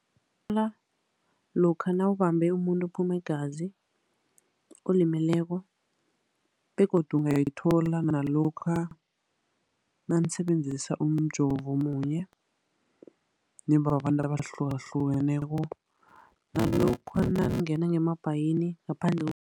lokha nawubambe umuntu uphuma igazi, olimeleko. Begodu ungayithola nalokha nanisebenzisa umjovo munye nibababantu abahlukahlukeneko. Nalokha nangingena ngemabhayini ngaphandle